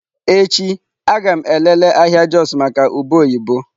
Echi a ga m elele ahịa Jos maka ube oyibo.